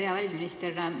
Hea välisminister!